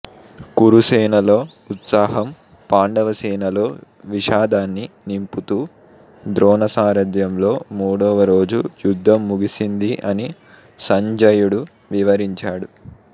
కురుసేనలో ఉత్సాహం పాండవసేనలో విషాదాన్ని నింపుతూ ద్రోణసారథ్యంలో మూడవ రోజు యుద్ధం ముగిసింది అని సంజయుడు వివరించాడు